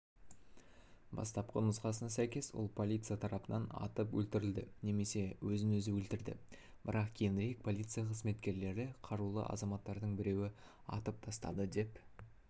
бастапқы нұсқасына сәйкес ол полиция тарапынан атып өлтірілді немесе өзін-өзі өлтірді бірақ кейінірек полиция қызметкерлері қарулы азаматтардың біреуі атып тастады деп